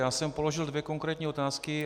Já jsem položil dvě konkrétní otázky.